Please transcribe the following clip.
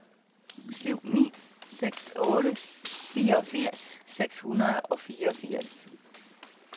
syv ni seks otte fireogfirs seks hundrede og fireogfirs